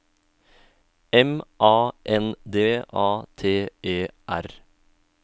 M A N D A T E R